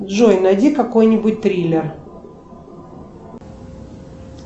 джой найди какой нибудь триллер